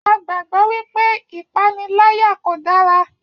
A gbàgbọ́ wípé ìpaniláyà kò dára